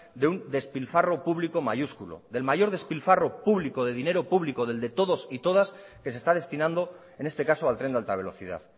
de un despilfarro público mayúsculo el mayor despilfarro público de dinero público del de todos y todas que se está destinando en este caso al tren de alta velocidad